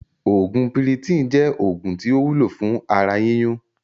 Oògún PIRITON jẹ́ oògùn tí ó wúlò fún ara yíyún